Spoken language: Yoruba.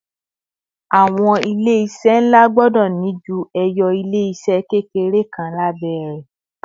àwọn ilé iṣẹ nla gbọdọ ni ju eyo ilé se kékeré kan labẹ rè